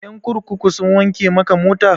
Ƴan kurkuku sun wanke maka mota?